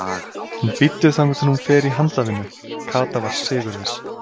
En bíddu þangað til hún fer í handavinnu. Kata var sigurviss.